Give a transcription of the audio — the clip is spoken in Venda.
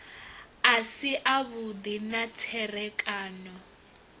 a si avhudi na tserekano